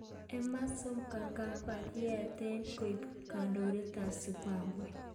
Emmerson Mnangagwa kokakiet koek kandoindet ab Zimbabwe.